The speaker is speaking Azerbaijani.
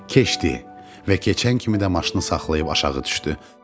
Və keçən kimi də maşını saxlayıb aşağı düşdü.